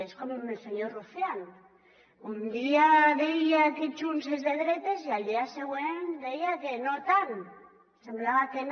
és com el senyor rufián un dia deia que junts és de dretes i al dia següent deia que no tant semblava que no